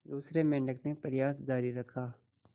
दूसरे मेंढक ने प्रयास जारी रखा